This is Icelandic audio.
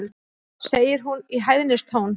segir hún í hæðnistón.